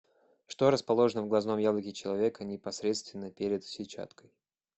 что расположено в глазном яблоке человека непосредственно перед сетчаткой